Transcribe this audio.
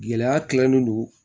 Gɛlɛya tilalen don